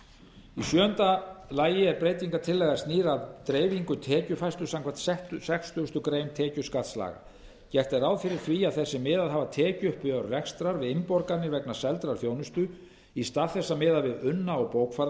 í sjöunda lagi er breytingartillagan snýr að dreifingu tekjufærslu samkvæmt sextugasta grein tekjuskattslaga gert er ráð fyrir því að þeir sem miðað hafa tekjuuppgjör rekstrar við innborganir vegna seldrar þjónustu í stað þess að miða við unna og bókfærða